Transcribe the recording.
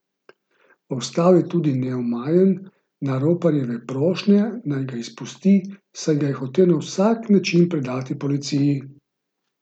Ostal je tudi neomajen na roparjeve prošnje, naj ga izpusti, saj ga je hotel na vsak način predati policiji.